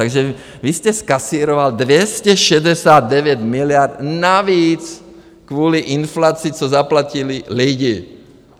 Takž vy jste zkasíroval 269 miliard navíc kvůli inflaci, co zaplatili lidi.